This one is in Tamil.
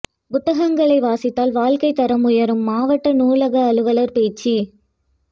புத்தகங்களை வாசித்தால் வாழ்க்கைத் தரம் உயரும் மாவட்ட நூலக அலுவலா் பேச்சு